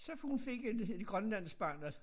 Så fik hun fik et et grønlandsk barn også